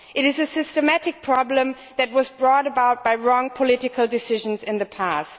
It is a systematic problem that was brought about by wrong political decisions in the past.